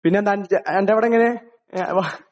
പിന്നെ എന്താണ്? അന്റെ അവിടെ എങ്ങനെയാ..ങ്. വാ.....